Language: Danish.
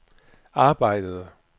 arbejdede